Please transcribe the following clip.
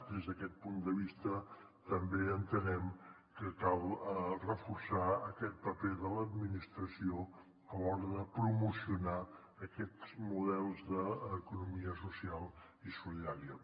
des d’aquest punt de vista també entenem que cal reforçar aquest paper de l’administració a l’hora de promocionar aquests models d’economia social i solidària